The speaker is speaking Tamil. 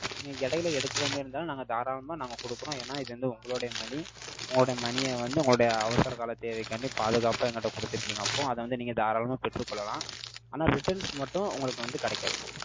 நீங்க இடையில எடுக்குற மாதிரி இருந்தாலு, நாங்க தாராளமா நாங்க கொடுக்குறோம். ஏன்னா, இது வந்து உங்களுடைய money. உங்களுடைய money ய வந்து, உங்களோட அவசரகால தேவைக்காண்டி, பாதுகாப்பா என்கிட்ட கொடுத்திருக்கீங்க. அப்போ, அதை வந்து, நீங்க தாராளமா பெற்றுக் கொள்ளலாம். ஆனா, returns மட்டும், உங்களுக்கு வந்து கிடைக்காது.